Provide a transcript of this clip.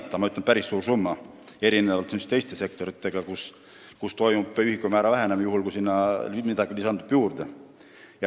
Ma ütleks, et see on päris suur summa erinevalt teistest sektoritest, kus ühikumäär väheneb, juhul kui sinna midagi lisandub.